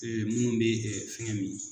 munnu bɛ fɛn min.